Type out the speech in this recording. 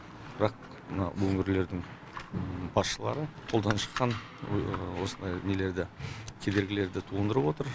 бірақ мына өңірлердің басшылары қолдан шыққан осындай нелерді кедергілерді туындырып отыр